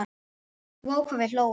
Vá hvað við hlógum.